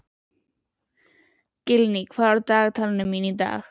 Gillý, hvað er á dagatalinu mínu í dag?